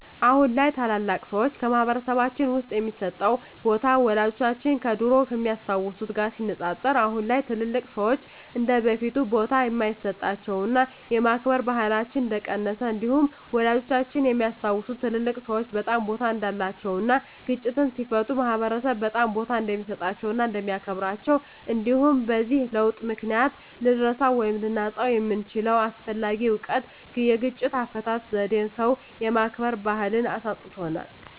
አሁን ላይ ታላላቅ ሰዎች በማህበረሰልባችን ውስጥ የሚሰጣቸው ቦታ ወላጆቻችን ከድሮው ከሚያስታውት ጋር ሲነፃፀር አሁን ላይ ትልልቅ ሰዎች እንደበፊቱ ቦታ እንደማይሰጣቸውና የማክበር ባህላችን እንደቀነሰ እንዲሁም ወላጆቻችን የሚያስታውሱት ትልልቅ ሰዎች በጣም ቦታ እንዳላቸው እና ግጭትን ሲፈቱ ማህበረሰብ በጣም ቦታ እንደሚሰጣቸው እና እንደሚያከብራቸው እንዲሁም በዚህ ለውጥ ምክንያት ልንረሳው ወይም ልናጣው የምንችለው አስፈላጊ እውቀት የግጭት አፈታት ዜዴን ሰው የማክበር ባህልን አሳጥቶናል።